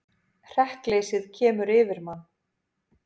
Hrekkleysið sem kemur yfir mann.